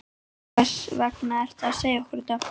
Hvers vegna ertu að segja okkur þetta?